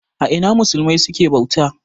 A Ina musulmai suke bauta?